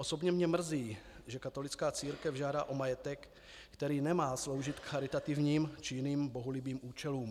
Osobně mě mrzí, že katolická církev žádá o majetek, který nemá sloužit k charitativním či jiným bohulibým účelům.